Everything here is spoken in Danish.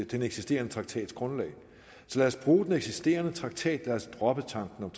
den eksisterende traktats grundlag så lad os bruge den eksisterende traktat lad os droppe tanken om